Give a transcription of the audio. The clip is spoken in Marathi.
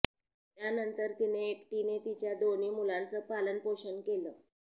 त्यानंतर तिने एकटीने तिच्या दोन्ही मुलांचं पालनपोषण केलं